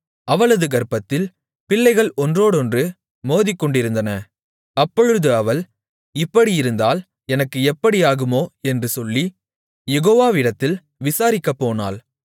அவளது கர்ப்பத்தில் பிள்ளைகள் ஒன்றோடொன்று மோதிக்கொண்டிருந்தன அப்பொழுது அவள் இப்படியிருந்தால் எனக்கு எப்படியாகுமோ என்று சொல்லி யெகோவாவிடத்தில் விசாரிக்கப் போனாள்